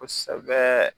Kosɛbɛ